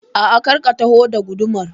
A'a, kar ka taho da gudumar